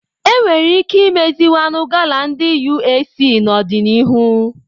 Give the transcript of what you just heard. Enwere ike imeziwanye gala ndi UAC n'ọdịnihu